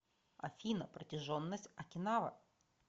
афина протяженность окинава